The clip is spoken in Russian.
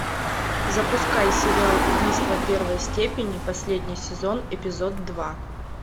запускай сериал убийство первой степени последний сезон эпизод два